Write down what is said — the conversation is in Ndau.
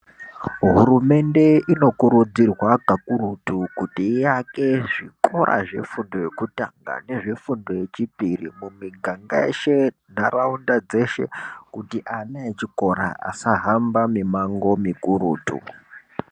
Hurumende inokurudzirwa kakurutu kuti iake zvikora zvefundo yekutanga nezvefundo yechipiri kumiganga yeshe nharaunda dzeshe kuti ana echikora asahamba mimango mikurutu.